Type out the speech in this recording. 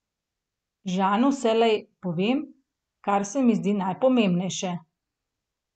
Žanu vselej povem, kar se mi zdi najpomembnejše.